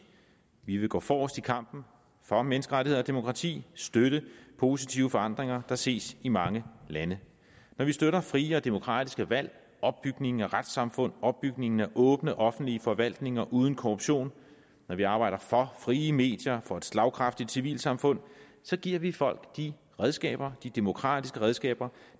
vi vil gå forrest i kampen for menneskerettigheder og demokrati støtte positive forandringer der ses i mange lande når vi støtter frie og demokratiske valg opbygningen af retssamfund opbygningen af åbne offentlige forvaltninger uden korruption når vi arbejder for frie medier og for et slagkraftigt civilsamfund giver vi folk de redskaber de demokratiske redskaber